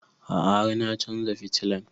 A'a har na chanza fitilan